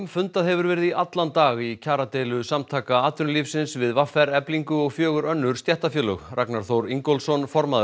fundað hefur verið í allan dag í kjaradeilu Samtaka atvinnulífsins við v r Eflingu og fjögur önnur stéttarfélög Ragnar Þór Ingólfsson formaður